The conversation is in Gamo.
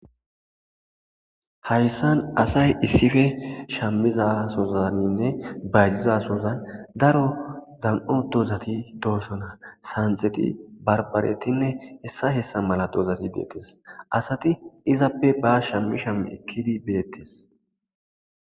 Hayissani asayi isipe shamiza sohanne bayizidda soha darro duma duma dozati dossona hessati santhetinne baribareti hessa hessa mela dozati dosona assati izape shami shami eketesi